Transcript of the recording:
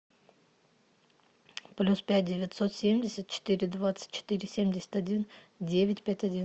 плюс пять девятьсот семьдесят четыре двадцать четыре семьдесят один девять пять один